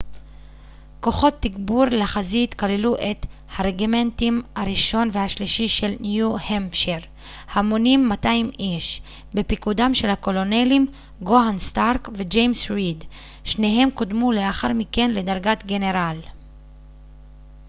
כוחות תגבור לחזית כללו את הרג'ימנטים הראשון והשלישי של ניו-המפשיירהמונים 200 איש בפיקודם של הקולונלים ג'והן סטארק וג'יימס ריד שניהם קודמו לאחר מכן לדרת גנרל